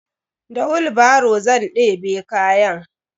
Da wilbaro zan ɗebe kayan.